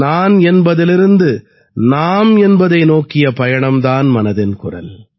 நான் என்பதிலிருந்து நாம் என்பதை நோக்கிய பயணம் தான் மனதின் குரல்